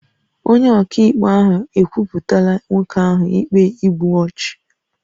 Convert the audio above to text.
Onye ọkaikpe ahụ ekwupụtala nwoke ahụ ikpe igbu ọchụ